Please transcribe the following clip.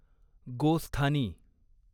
गोस्थानी